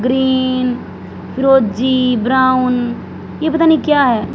Green फिरोजी brown ये पता नहीं क्या है।